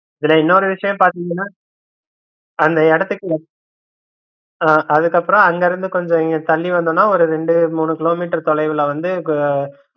இதுல இன்னொரு விஷயம் பாத்தீங்கன்னா அந்த இடத்துக்கு அதுக்கப்புறம் அங்கிருந்து கொஞ்சம் இங்க தள்ளி வந்தனா ஒரு ரெண்டு மூணு கிலோமீட்டர் தொலைவுல வந்து